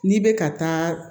N'i bɛ ka taa